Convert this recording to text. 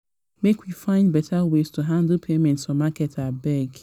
make we find better ways to handle payments for market abeg.